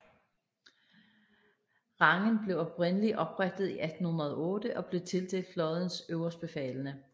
Rangen blev oprindeligt oprettet i 1808 og blev tildelt flådens øverstbefalende